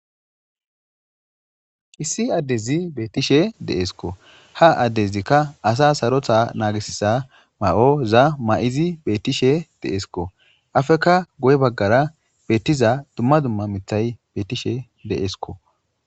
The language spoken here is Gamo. Issi addezi beettishe deeskko ha addezikka asa sarotha naagisiza ma7o za ma7izi beettishe deesikko afekka goy baggara beettiza dumma dumma mithay beettishe deeskko.